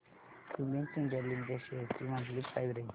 Cummins India limited shares ची monthly price range